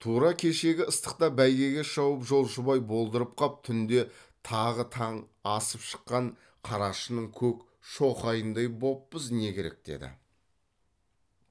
тура кешегі ыстықта бәйгеге шауып жолшыбай болдырып қап түнде тағы таң асып шыққан қарашының көк шоқайындай боппыз не керек деді